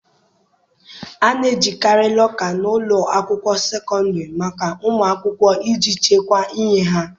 A na-ejikarị lọka n' ụlọ akwụkwọ sekọndịrị maka ụmụ akwụkwọ iji chekwaa ihe ha.